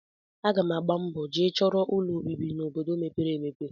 Aga m agba mbọ jee chọrọ ụlọobibi n'obodo mepere emepe